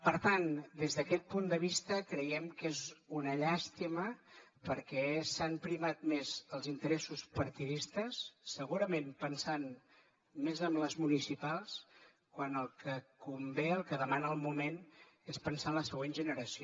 per tant des d’aquest punt de vista creiem que és una llàstima perquè s’han primat més els interessos partidistes segurament pensant més en les municipals quan el que convé el que demana el moment és pensar en la següent generació